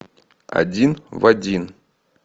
один в один